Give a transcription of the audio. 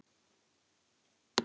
Og því ekki?